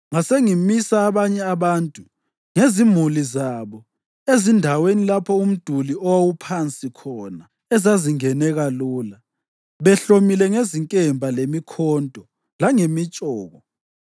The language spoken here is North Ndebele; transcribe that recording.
Ngasengimisa abanye abantu ngezimuli zabo ezindaweni lapho umduli owawuphansi khona, ezazingeneka lula, behlomile ngezinkemba, lemikhonto langemitshoko.